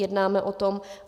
Jednáme o tom.